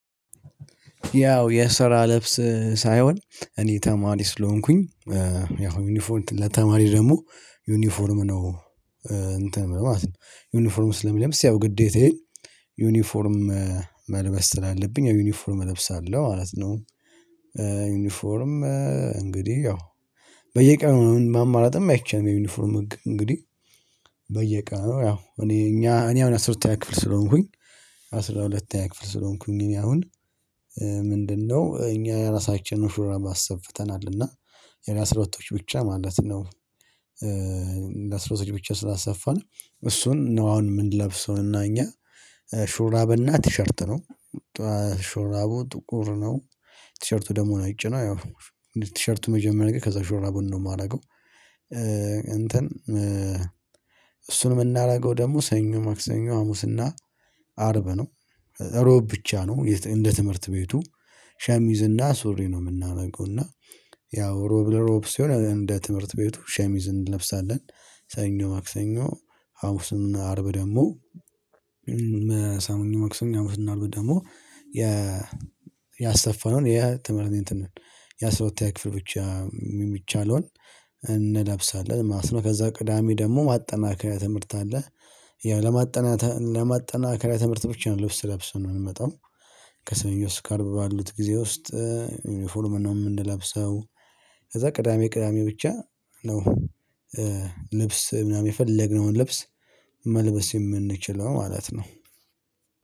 ያው የስራ ልብስ ሳይሆን እኔ ተማሪ ስለሆንኩኝ ያው ዩኒፎርም ለተማሪ ደግሞ ዩኒፎርም ነው። እንትን ማለት ነው ዩኒፎርም ስለሚለምስ ያው ግዴታዬ ዩኒፎርም መልበስ ስላለብኝ ዩኒፎርም እለብሳለሁ ማለት ነው። ዩኒፎርም እንግዲህ ያው በየቀኑ ማማረጥም አይቻልም የዩኒፎርም ህግ እንግዲህ በየቀኑ ያው እኔ እኛ እኔ አሁን አስራ ሁለተኛ ክፍል ስለሆንኩኝ አስራ ሁለተኛ ክፍል ስለሆንኩኝ እኔ አሁን? ምንድነው እኛ የራሳችንን ሹራብ አሰፍተናል እና የአስራሁለቶች ብቻ ማለት ነው። እንደ አስራ ሁለት ብቻ ስላሰፋን እሱን ነው አሁን የምንለብሰውና እና እኛ ሹራብ እና ቲሸርት ነው። ሹራቡ ጥቁር ነው። ቲሸርቱ ደሙ ነው ነጭ ነው። ያው ቲሸርቱ መጀመሪያ ጋር ከዛ ሹራቡን ነው የማደርገው። እንትን እሱን የምናደርገው ደግሞ ሰኞ ማክሰኞ ሀሙስና አርብ ነው። እሮብ ብቻ ነው እንደ ትምህርት ቤቱ ሸሚዝና ሱሪ ነው የምናደርገው። እና ያው ሮብ ሮብ ሲሆነ እንደ ትምህርት ቤቱ ሸሚዝ እንለብሳለን። ሰኞ ማክሰኞ ሀሙስና አርብ ደግሞ ሰኞ መክሰኞ ሀሙስ እና አርብ ደግሞ የ ያሰፋነውን የትምህርት እንትን ነው። የአስራ ሁለተኛ ክፍል ብቻ የሚቻለውን እንለብሳለን ማስነው ከዛ ቅዳሜ ደግሞ ማጠናከሪያ ትምህርት አለ። ያው ለማጠናተ ለማጠናከሪያ ትምህርት ብቻ ነው ልብስ ለብሰን የምንመጣው። ከሰኞ እስከ አርብ ባሉት ጊዜ ውስጥ ዩኒፎርም ነው የምንለብሰው። ከዛ ቅዳሜ ቅዳሜ ብቻ ነው። ልብስ ምናምን የፈለግነውን ልብስ መልበስ የምንችለው ማለት ነው።